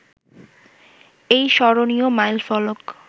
এই স্মরণীয় মাইলফলক